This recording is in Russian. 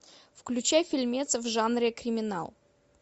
включай фильмец в жанре криминал